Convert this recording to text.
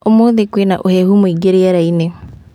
Ũmũthĩ kwĩna ũhehu mũingĩ rĩera-inĩ